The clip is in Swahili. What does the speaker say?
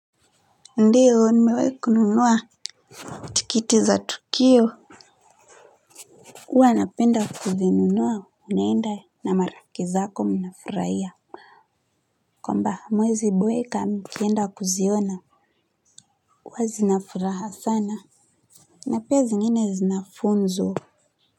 Ndiyo nimewai kununua tikiti za tukio huwa napenda kuzinunua unaenda na marafiki zako mnafurahia kwamba hamuwezi boeka mkienda kuziona huwa zinafuraha sana na pia zingine zina funzo.